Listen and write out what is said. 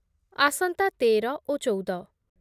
ଆସନ୍ତା ତେର ଓ ଚଉଦ